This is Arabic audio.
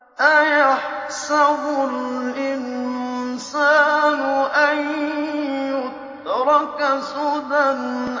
أَيَحْسَبُ الْإِنسَانُ أَن يُتْرَكَ سُدًى